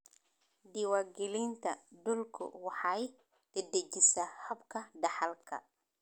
Diiwaangelinta dhulku waxay dedejisaa habka dhaxalka.